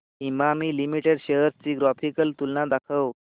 Emami limited shares ची graphical तुलना दाखव